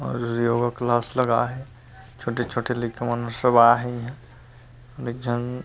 अउर योगा क्लास लगा हे छोटे - छोटे लइका मन सब आहे इहाँ अउ एक झन --